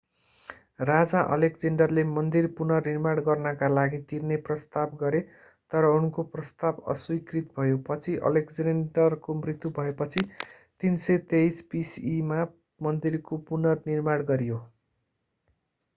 राजा एलेक्जेन्डरले मन्दिर पुनर्निर्माण गर्नका लागि तिर्ने प्रस्ताव गरे तर उनको प्रस्ताव अस्वीकृत भयो पछि एलेक्जेन्डरको मृत्यु भएपछि 323 bce मा मन्दिरको पुनर्निर्माण गरियो